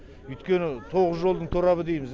өйткені тоғыз жолдың торабы дейміз